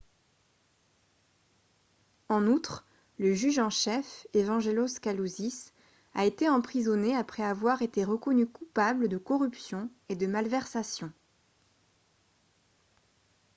en outre le juge en chef evangelos kalousis a été emprisonné après avoir été reconnu coupable de corruption et de malversations